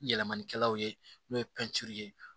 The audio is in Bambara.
Yɛlɛmanikɛlaw ye n'o ye ye